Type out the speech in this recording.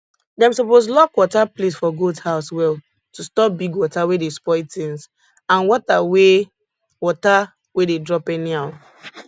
dem suppose lock water place for goat house well to stop big water wey dey spoil tins and water wey water wey dey drop anyhow